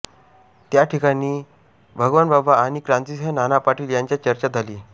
त्या ठिकाणी भगवानबाबा आणि क्रांतिसिंह नाना पाटील यांच्यात चर्चा झाली